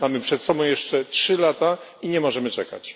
Mamy przed sobą jeszcze trzy lata i nie możemy czekać.